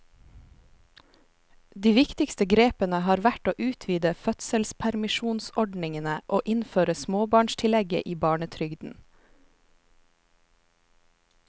De viktigste grepene har vært å utvide fødselspermisjonsordningene og innføre småbarnstillegget i barnetrygden.